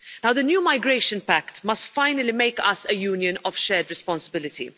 The new migration pact must finally make us a Union of shared responsibility.